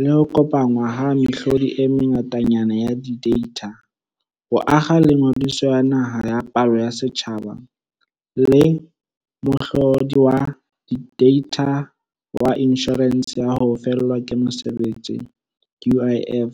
le ho kopanngwa ha mehlodi e mengatanyana ya dideitha, ho akga le Ngodiso ya Naha ya Palo ya Setjhaba le mohlo di wa deitha wa Inshorense ya ho Fellwa ke Mosebetsi UIF.